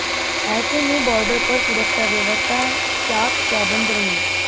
ऐसे में बॉर्डर पर सुरक्षा व्यवस्था चाक चौबंद रही